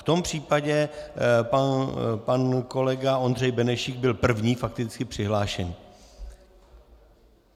V tom případě pan kolega Ondřej Benešík byl první fakticky přihlášený.